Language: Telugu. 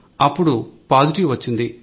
అప్పుడు పాజిటివ్ వచ్చింది